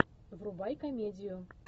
врубай комедию